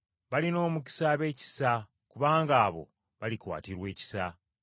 Balina omukisa ab’ekisa, kubanga abo balikwatirwa ekisa.